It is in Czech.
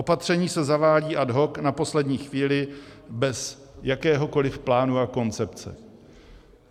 Opatření se zavádí ad hoc na poslední chvíli bez jakéhokoli plánu a koncepce.